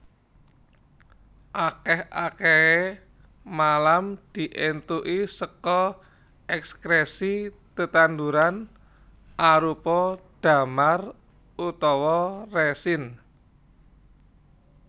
Akèh akèhé malam diéntuki saka èkskrèsi tetanduran arupa damar utawa resin